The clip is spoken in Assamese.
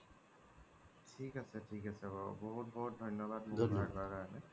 ঠিক আছে ঠিক আছে বাৰু বহুত ধন্যবাদ সহায় কৰা কাৰণে